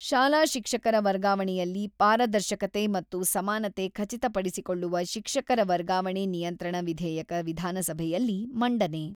-ಶಾಲಾ ಶಿಕ್ಷಕರ ವರ್ಗಾವಣೆಯಲ್ಲಿ ಪಾರದರ್ಶಕತೆ ಮತ್ತು ಸಮಾನತೆ ಖಚಿತಪಡಿಸಿಕೊಳ್ಳುವ ಶಿಕ್ಷಕರ ವರ್ಗಾವಣೆ ನಿಯಂತ್ರಣ ವಿಧೇಯಕ ವಿಧಾನಸಭೆಯಲ್ಲಿ ಮಂಡನೆ.